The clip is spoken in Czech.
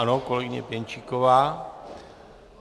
Ano, kolegyně Pěnčíková.